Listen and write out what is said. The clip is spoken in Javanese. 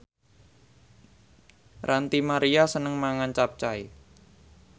Ranty Maria seneng mangan capcay